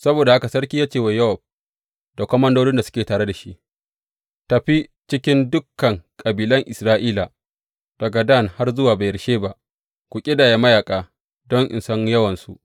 Saboda haka sarki ya ce wa Yowab da komandodin da suke tare da shi, Tafi cikin dukan kabilan Isra’ila, daga Dan har zuwa Beyersheba, ku ƙidaya mayaƙa don in san yawansu.